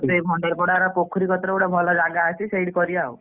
ସେ ଭଣ୍ଡାରୀ ପୋଡା ର ପୋଖରୀ ପାଖରେ କତିରେ ଗୋଟେ ଭଲ ଜାଗା ଅଛି ସେଇଠି କରିବା ଆଉ।